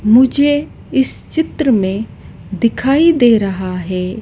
मुझे इस चित्र में दिखाई दे रहा है--